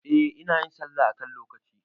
Eh, inayin sallah a kan lokaci